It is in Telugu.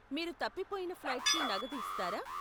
మీరు తప్పిపోయిన ఫ్లైట్కి నగదు ఇస్తారా?